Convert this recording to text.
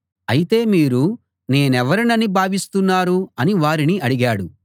అయితే మీరు నేనెవరినని భావిస్తున్నారు అని వారిని అడిగాడు